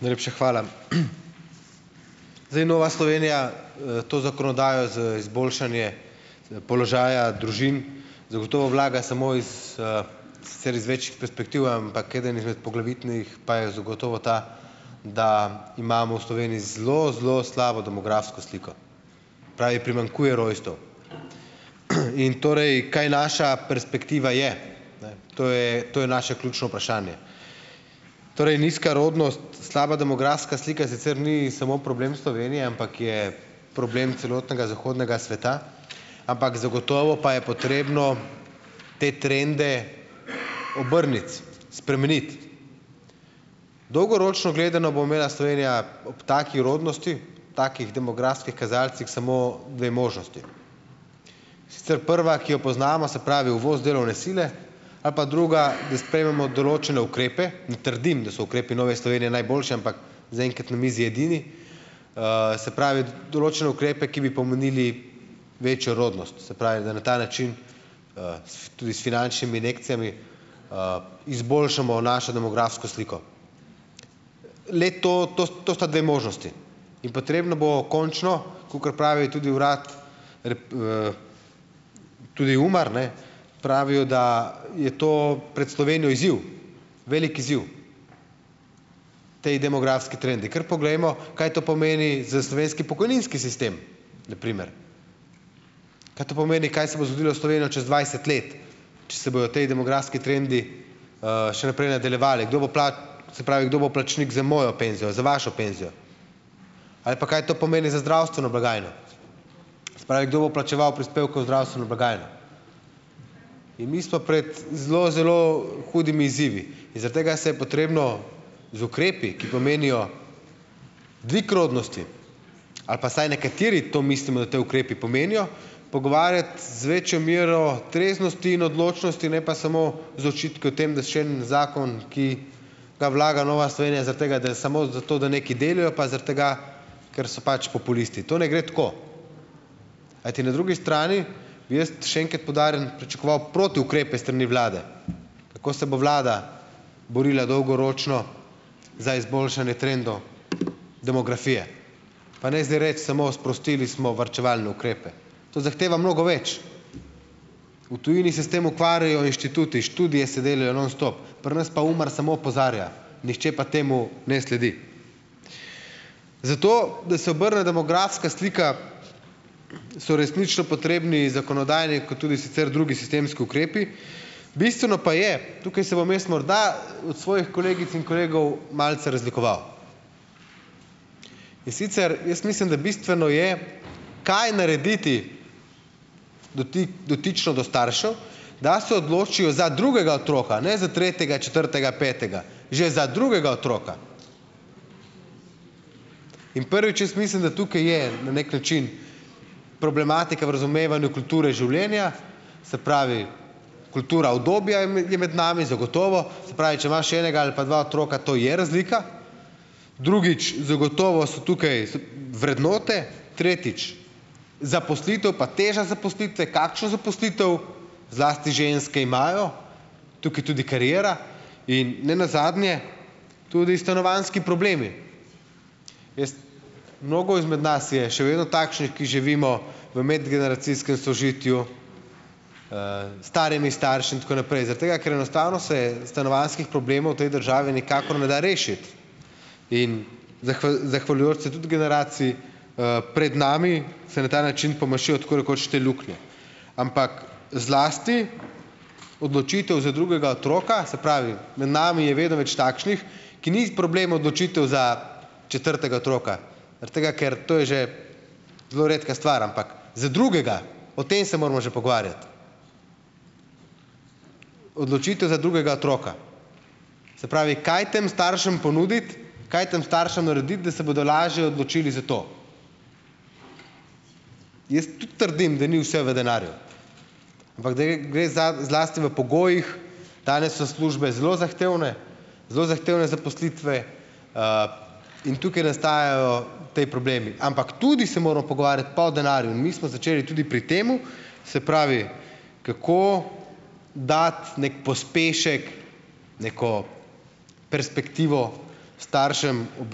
Najlepša hvala. Zdaj Nova Slovenija, to zakonodajo za izboljšanje, položaja družin, zagotovo vlaga samo iz, sicer iz več perspektiv, ampak eden izmed poglavitnih pa je zagotovo ta, da imamo v Sloveniji zelo, zelo slabo demografsko sliko. Pravi: "Primanjkuje rojstev." In torej, kaj naša perspektiva je? Ne, to je to je naše ključno vprašanje. Torej nizka rodnost, slaba demografska slika sicer ni samo problem Slovenije, ampak je problem celotnega zahodnega sveta, ampak zagotovo pa je potrebno te trende obrniti, spremeniti. Dolgoročno gledano bo imela Slovenija ob taki rodnosti, takih demografskih kazalcih, samo dve možnosti. Sicer prva, ki jo poznamo, se pravi, uvoz delovne sile, a pa druga, da sprejmemo določene ukrepe , ne trdim, da so ukrepi Nove Slovenije najboljši, ampak zaenkrat na mizi edini, se pravi, določene ukrepe, ki bi pomenili večjo rodnost. Se pravi, da na ta način, s tudi s finančnimi injekcijami, izboljšamo našo demografsko sliko. Le to, to, to sta dve možnosti. In potrebno bo končno, kakor pravi tudi urad tudi UMAR ne. Pravijo, da je to pred Slovenijo izziv. Velik izziv, potem demografski trendi. Kar poglejmo, kaj to pomeni za slovenski pokojninski sistem na primer? Kaj to pomeni, kaj se bo zgodilo s Slovenijo čez dvajset let, če se bojo tej demografski trendi, še naprej nadaljevali? Kdo bo se pravi, kdo bo plačnik za mojo penzijo? Za vašo penzijo? Ali pa, kaj to pomeni za zdravstveno blagajno? Pravi, kdo bo plačeval prispevke v zdravstveno blagajno? In mi smo pred zelo, zelo hudimi izzivi in zaradi tega se je potrebno z ukrepi, ki pomenijo dvig rodnosti, ali pa vsaj nekateri to mislimo, da ti ukrepi pomenijo, pogovarjati z večjo mero treznosti in odločnosti, ne pa samo z očitki o tem, da še en zakon, ki ga vlaga Nova Slovenija zaradi tega, da samo zato, da nekaj delijo pa zaradi tega, ker so pač populisti. To ne gre tako, kajti na drugi strani, jaz še enkrat poudarjam, pričakoval protiukrepe s strani vlade. Kako se bo vlada borila dolgoročno za izboljšanje trendov demografije? Pa ne zdaj reči samo sprostili smo varčevalne ukrepe. To zahteva mnogo več. V tujini se s tem ukvarjajo inštituti, študije se delajo non stop, pri nas pa UMAR samo opozarja, nihče pa temu ne sledi. Zato da se obrne demografska slika so resnično potrebni zakonodajni, kot tudi sicer drugi sistemski ukrepi, bistveno pa je, tukaj se bom jaz morda od svojih kolegic in kolegov malce razlikoval, in sicer, jaz mislim, da bistveno je, kaj narediti dotično do staršev, da se odločijo za drugega otroka? Ne za tretjega, četrtega, petega. Že za drugega otroka. In prvič: jaz mislim, da tukaj je na neki način problematika v razumevanju kulture življenja, se pravi, kultura udobja je je med nami, zagotovo. Se pravi, če imaš enega ali pa dva otroka, to je razlika. Drugič: zagotovo so tukaj so vrednote. Tretjič, zaposlitev pa teža zaposlitve, kakšna zaposlitev, zlasti ženske imajo, tukaj tudi kariera in ne nazadnje tudi stanovanjski problemi. Jaz ... Mnogo izmed nas je še vedno takšnih, ki živimo v medgeneracijskem sožitju, s starimi starši, in tako naprej, zaradi tega, ker enostavno se stanovanjskih problemov v tej državi nikakor ne da rešiti. In zahvaljujoč se tudi generaciji, pred nami, se na ta način pomašijo tako rekoč te luknje. Ampak zlasti odločitev za drugega otroka, se pravi, med nami je vedno več takšnih, ki ni problem odločitev za četrtega otroka, zaradi tega, ker to je že zelo redka star, ampak za drugega, o tem se moramo že pogovarjati. Odločitev za drugega otroka. Se pravi, kaj tem staršem ponuditi, kaj tam staršem narediti, da se bodo lažje odločili za to? Jaz tudi trdim, da ni vse v denarju, ampak da gre za zlasti v pogojih, danes so službe zelo zahtevne, zelo zahtevne zaposlitve, in tukaj nastajajo ti problemi, ampak tudi se moramo pogovarjati pa o denarju in mi smo začeli tudi pri temu, se pravi, kako dati neki pospešek, neko perspektivo staršem ob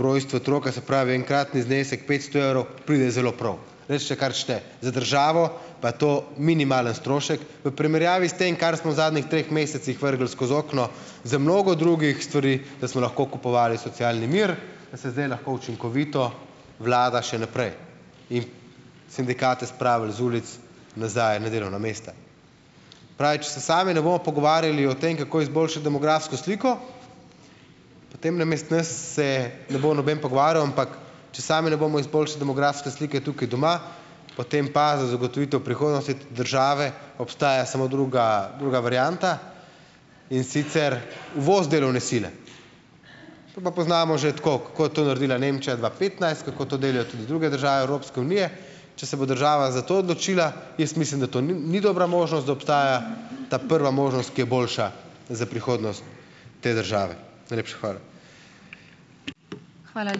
rojstvu otroka, se pravi, enkratni znesek petsto evrov pride zelo prav. Recite kar hočete, za državo pa to minimalni strošek v primerjavi s tem, kar smo v zadnjih treh mesecih vrgli skozi okno, za mnogo drugih stvari, da smo lahko kupovali socialni mir, da se zdaj lahko učinkovito vlada še naprej in sindikate spravili z ulic nazaj na delovna mesta. Pravi, če se sami ne bomo pogovarjali o tem, kako izboljšati demografsko sliko, potem namesto nas se ne bo noben pogovarjal, ampak če sami ne izboljšali demografske slike tukaj doma, potem pa za zagotovitev prihodnosti države obstaja samo druga, druga varianta, in sicer uvoz delovne sile. To pa poznamo že tako, kako je to naredila Nemčija dva petnajst, kako to delajo tudi druge države Evropske unije . Če se bo država za to odločila, jaz mislim, da to ni dobra možnost, da obstaja ta prva možnost, ki je boljša za prihodnost te države. Najlepša hvala.